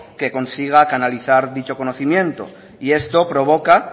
que consiga canalizar dicho conocimiento y esto provoca